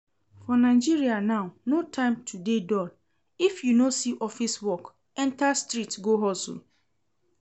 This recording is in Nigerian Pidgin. For Nigeria now no time to dey dull, if you no see office work enter street go hustle